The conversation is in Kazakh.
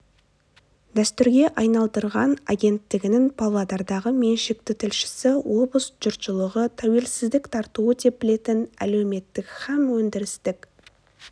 дәстүрге айналдырған агенттігінің павлодардағы меншікті тілшісі облыс жұртшылығы тәуелсіздік тартуы деп білетін әлеуметтік һәм өндірістік